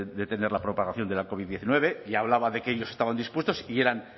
detener la propagación de la covid hemeretzi y hablaba de que ellos estaban dispuestos y eran